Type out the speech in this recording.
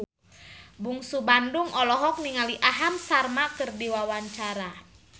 Bungsu Bandung olohok ningali Aham Sharma keur diwawancara